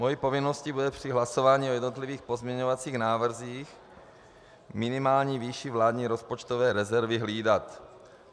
Mou povinností bude při hlasování o jednotlivých pozměňovacích návrzích minimální výši vládní rozpočtové rezervy hlídat.